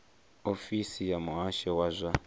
ofisi ya muhasho wa zwa